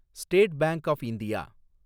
state bank of India